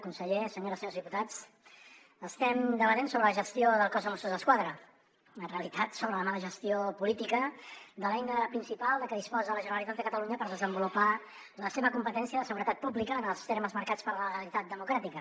conseller senyores i senyors diputats estem debatent sobre la gestió del cos de mossos d’esquadra en realitat sobre la mala gestió política de l’eina principal de què disposa la generalitat de catalunya per desenvolupar la seva competència de seguretat pública en els termes marcats per la legalitat democràtica